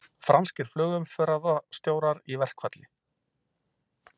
Franskir flugumferðarstjórar í verkfall